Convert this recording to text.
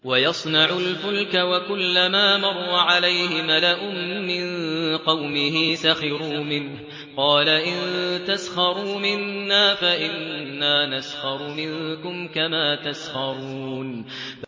وَيَصْنَعُ الْفُلْكَ وَكُلَّمَا مَرَّ عَلَيْهِ مَلَأٌ مِّن قَوْمِهِ سَخِرُوا مِنْهُ ۚ قَالَ إِن تَسْخَرُوا مِنَّا فَإِنَّا نَسْخَرُ مِنكُمْ كَمَا تَسْخَرُونَ